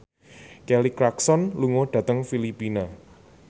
Kelly Clarkson lunga dhateng Filipina